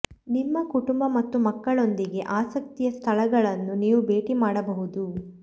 ನಿಮ್ಮ ಕುಟುಂಬ ಮತ್ತು ಮಕ್ಕಳೊಂದಿಗೆ ಆಸಕ್ತಿಯ ಸ್ಥಳಗಳನ್ನು ನೀವು ಭೇಟಿ ಮಾಡಬಹುದು